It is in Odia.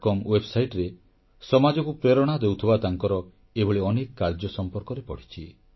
ମୁଁ thebetterindiacom ୱେବସାଇଟରେ ସମାଜକୁ ପ୍ରେରଣା ଦେଉଥିବା ତାଙ୍କର ଏଭଳି ଅନେକ କାର୍ଯ୍ୟ ସମ୍ପର୍କରେ ପଢ଼ିଛି